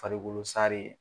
Faribolo sare.